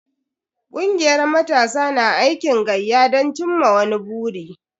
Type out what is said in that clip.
Kungiyar matasa na aikin gayya don cimma wani buri.